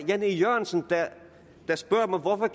jan e jørgensen der spørger mig hvorfor